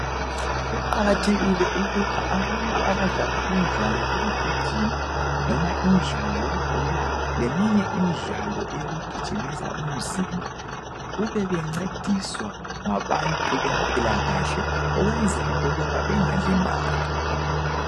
Kuqakathekile ukuba abantu abadlala imidlalo yekugijima noma imidlalo yebhola leminye imidlalo yokugijimisa umzimba kube bancediswa ngabantu bempilakahle ukwenzela ukuba bengalimali.